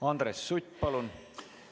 Andres Sutt, palun!